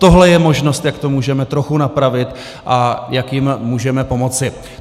Tohle je možnost, jak to můžeme trochu napravit a jak jim můžeme pomoci.